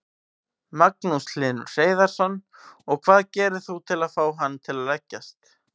Magnús Hlynur Hreiðarsson: Og hvað gerir þú til að fá hann til að leggjast?